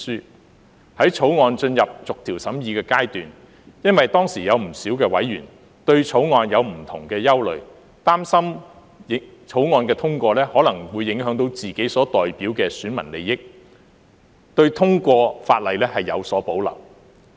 在《條例草案》進入逐條審議的階段時，當時有不少委員對《條例草案》有不同的憂慮，擔心《條例草案》通過後，可能會影響到自己所代表的選民利益，對通過法例有所保留。